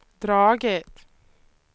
dragit